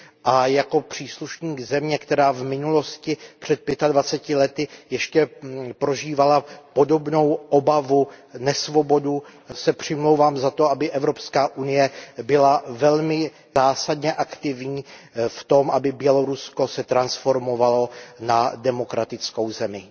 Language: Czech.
A jako příslušník země, která v minulosti, před pětadvaceti lety, ještě prožívala podobnou obavu, nesvobodu, se přimlouvám za to, aby Evropská unie byla velmi zásadně aktivní v tom, aby Bělorusko se transformovalo na demokratickou zemi.